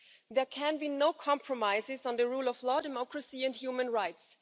There can be no compromises on the rule of law, democracy and human rights.